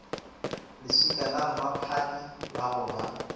leswika lamphaphathi la go ba